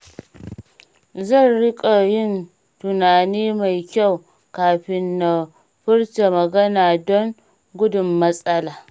Zan riƙa yin tunani mai kyau kafin na furta magana don gudun matsala.